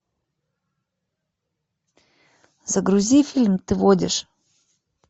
загрузи фильм ты водишь